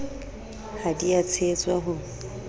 ha di a tshehetswa ho